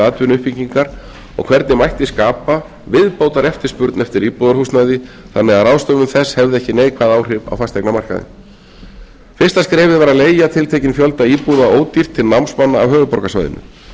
atvinnuuppbyggingar og hvernig mætti skapa viðbótareftirspurn eftir íbúðarhúsnæði þannig að ráðstöfun þess hefði ekki neikvæð áhrif á fasteignamarkaðinn fyrsta skrefið varð að leiga tiltekinn fjölda íbúða ódýrt til námsmanna af höfuðborgarsvæðinu